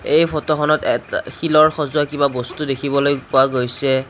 এই ফটোখনত এত আ শিলৰ সজোৱা কিবা বস্তু দেখিবলৈ পোৱা গৈছে।